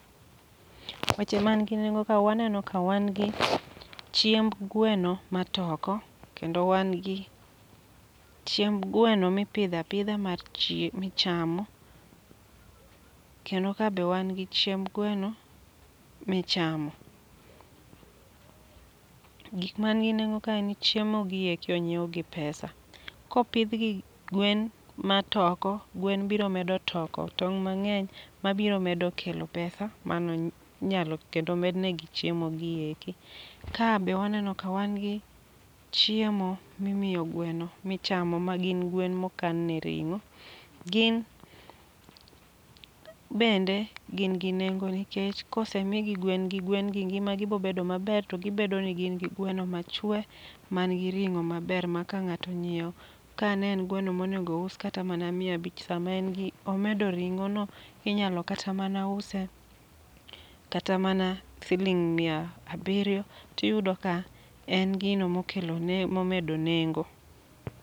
Weche man gi nengo ka waneno ka wan gi chiemb gweno ma toko, kendo wan gi chiemb gweno mipidha pidha mar chie michamo. Kendo ka be wan gi chiemb gweno michamo. Gik man gi nengo ka en ni chiemo gieki onyiew gi pesa. Kopidh gi gwen ma toko, gwen biro medo toko tong' mang'eny, ma biro medo kelo pesa mano nyalo kendo med negi chiemo gieki. Ka be waneno ka wan gi chiemo mi miyo gweno michamo, ma gin gwen mokan ne ring'o. Gin bende gin gi nengo nikech kose migi gwen gi, gwen gi ngima gi bobedo maber to gibedo ni gin gi gweno machwe man gi ring'o maber. Ma ka ng'ato onyiewo, ka ne en gweno monego ous kata mana miya bich sama en gi omedo ring'o no inyalo kata mana use, kata mana siling' miya abiriyo. Tiyudo ka en gino mokelo ne momedo nengo.